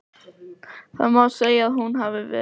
Það má segja að hún hafi verið.